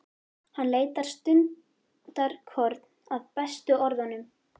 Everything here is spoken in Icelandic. Hann leitar stundarkorn að bestu orðunum.